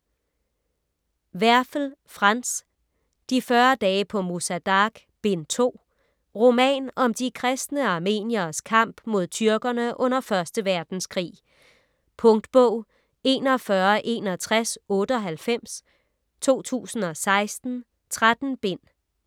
Werfel, Franz: De 40 dage på Musa Dagh: Bind 2 Roman om de kristne armenieres kamp mod tyrkerne under 1. verdenskrig. . Punktbog 416198 2016. 13 bind.